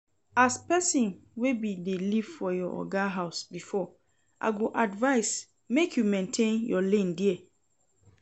As person wey bin dey live for your oga house before I go advise make you maintain your lane there